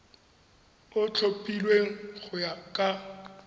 o tlhophilweng go ya ka